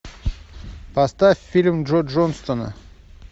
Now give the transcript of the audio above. поставь фильм джо джонсона